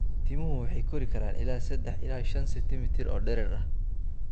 Timuhu waxay kori karaan ilaa sedex ilaa shan centimitar oo dherer ah.